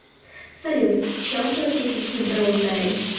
салют чем платить в гибралтаре